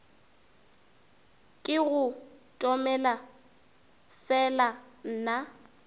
ke go tomele fela nna